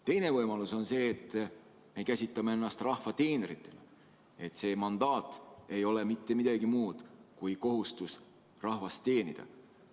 Teine võimalus on see, et me käsitame ennast rahva teenritena: meie mandaat ei ole mitte midagi muud kui kohustus rahvast teenida.